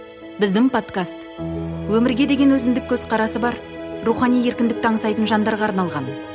біздің подкаст өмірге деген өзіндік көзқарасы бар рухани еркіндікті аңсайтын жандарға арналған